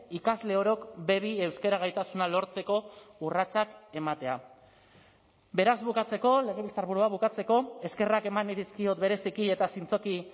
ikasle orok be bi euskara gaitasuna lortzeko urratsak ematea beraz bukatzeko legebiltzarburua bukatzeko eskerrak eman nahi dizkiot bereziki eta zintzoki